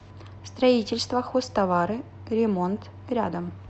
строительство хозтовары ремонт рядом